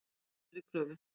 Hann hafnar þeirri kröfu.